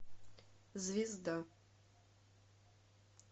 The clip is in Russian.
звезда